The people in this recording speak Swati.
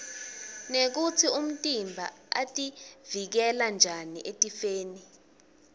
nekutsi umtimba utivikela njani etifeni